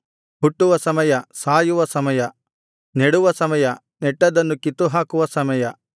ಹುಟ್ಟುವ ಸಮಯ ಸಾಯುವ ಸಮಯ ನೆಡುವ ಸಮಯ ನೆಟ್ಟದ್ದನ್ನು ಕಿತ್ತುಹಾಕುವ ಸಮಯ